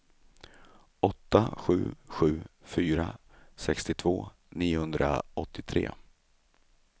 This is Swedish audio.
åtta sju sju fyra sextiotvå niohundraåttiotre